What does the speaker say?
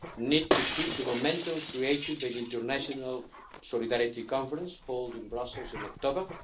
need to keep the momentum created by the International Solidarity Conference held in Brussels in October.